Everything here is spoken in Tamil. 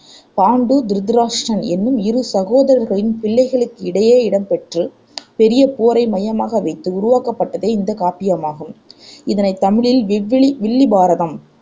பாண்டு, திருதராட்டிரன் என்னும் இரு சகோதரர்களின் பிள்ளைகளிடையே இடம் பெற்று பெரிய போரை மையமாக வைத்து உருவாக்கப்பட்டதே இந்தக் காப்பியமாகும். இதனைத் தமிழில் விவ்லி வில்லிபாரதம்